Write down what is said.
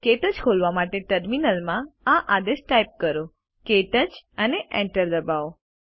ક્ટચ ખોલવા માટે ટર્મિનલ માં આ આદેશ ટાઇપ કરો ક્ટચ અને Enter દબાવો